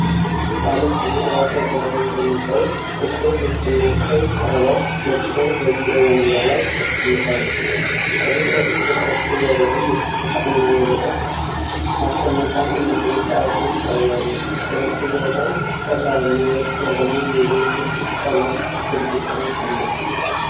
ባለፀጉር ራሰ በራ የሆነ ሰው ጥቁር ልብስና ቀይ ክራቫት ለብሶ በቢሮ ወንበር ላይ ተቀምጧል። ከፊት ለፊቱ በጠረጴዛው ላይ የብርጭቆና የብዕር ማስቀመጫ እንዲሁም ሰዓቱ ይታያሉ። ከበስተጀርባው ቀላልና ወጥ የሆነ የቢዥ ቀለም ግድግዳ አለ።